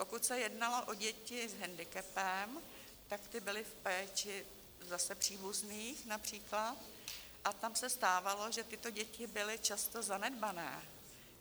Pokud se jednalo o děti s hendikepem, tak ty byly v péči zase příbuzných například a tam se stávalo, že tyto děti byly často zanedbané.